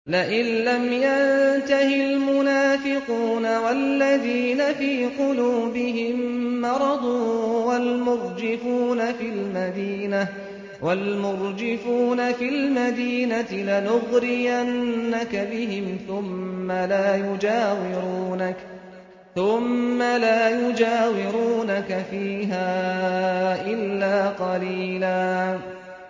۞ لَّئِن لَّمْ يَنتَهِ الْمُنَافِقُونَ وَالَّذِينَ فِي قُلُوبِهِم مَّرَضٌ وَالْمُرْجِفُونَ فِي الْمَدِينَةِ لَنُغْرِيَنَّكَ بِهِمْ ثُمَّ لَا يُجَاوِرُونَكَ فِيهَا إِلَّا قَلِيلًا